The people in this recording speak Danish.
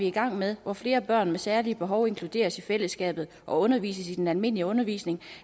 i gang med hvor flere børn med særlige behov inkluderes i fællesskabet og undervises i den almindelige undervisning